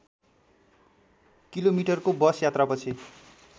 किलोमिटरको बस यात्रापछि